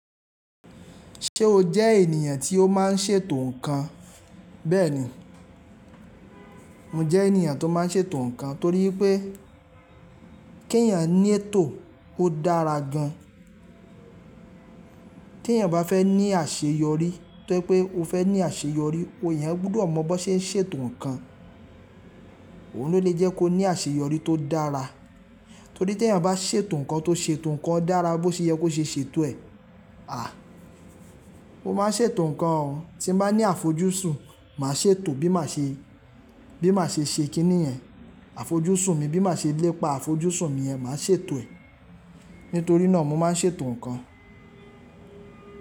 Ṣé o jẹ́ ènìyàn tí ó má ń ṣètò ǹkan? Bẹ́ẹ̀ni, mo jẹ́ ènìyàn tó má ń ṣètò ǹkan torí pé kí eeyàn ní ètò ó dára gan. Tí eeyàn bá fẹ́ ní àṣeyọrí to je pé ó fẹ́ ní àṣeyọrí, eeyan gbudọ̀ mọ̀ bi won ṣe ń ṣètò ǹkan. Ohun ló le jẹ́ kó ní àṣeyọrí tó dára. Torí tí eeyàn bá ṣètò ǹkan tó ṣetò ǹkan dára bó ṣe yẹ kó ṣe ṣètò ẹ̀. À, mo má n ṣètò ǹkan o. Tí n bá ní àfojúsùn màá ṣètò bí màá ṣe, bí màá ṣe ṣe kíní yẹ̀n Àfojúsùn mi bí màá ṣe lépa àfojúsùn mi yen, máa ṣètò ẹ̀. Nítorí náà mo má n ṣètò ǹkan.